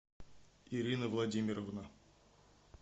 ирина владимировна